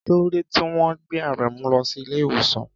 Kí ló dé tí wọ́n gbé Aremu lọ sí ilé ìwòsàn?